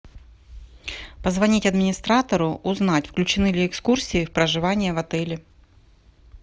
позвонить администратору узнать включены ли экскурсии в проживание в отеле